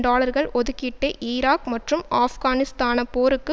டாலர்கள் ஒதுக்கீட்டை ஈராக் மற்றும் ஆப்கானிஸ்தான போருக்கு